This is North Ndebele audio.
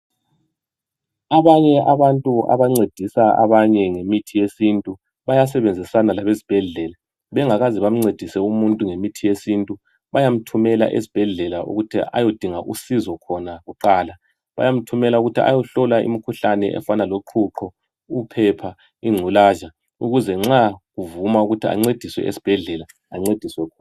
Abanye abantu abancedisa abanye ngemithi yesintu bayasebenzisana labezibhedlela bengakaze bamncedise umuntu ngemithi yesintu bayamthumela esibhedlela ukuthi ayodinga usizo khona kuqala bayamthumela ukuthi ayohlolwa imkhuhlane efana loqhuqho, uphepha, ingculaza ukuze nxa kuvuma ukuthi ancediswe esibhedlela ancediswe khona